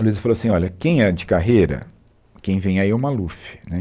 A Luiza falou assim, olha, quem é de carreira, quem vem aí é o Maluf, né